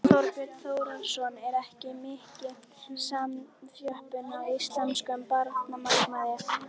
Þorbjörn Þórðarson: Er ekki mikil samþjöppun á íslenskum bankamarkaði?